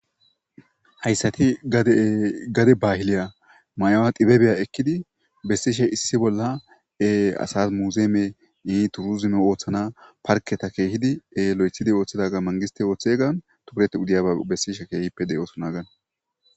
Haysati gade bahiliya mayuwa xiababiya ekidi besishe issi bolla asa museum , toursime oothana parketa lo'ethidi wothidagan mangisitey oothiya keehippe besishe de'osona hagani.